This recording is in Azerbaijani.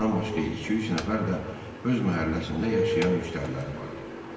Bundan başqa iki-üç nəfər də öz məhəlləsində yaşayan müştəriləri vardı.